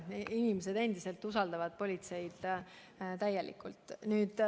Inimesed endiselt usaldavad politseid täielikult.